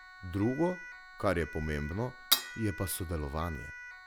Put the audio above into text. Drugo, kar je pomembno, je pa sodelovanje.